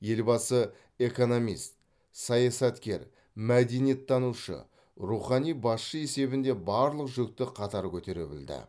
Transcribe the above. елбасы экономист саясаткер мәдениеттанушы рухани басшы есебінде барлық жүкті қатар көтере білді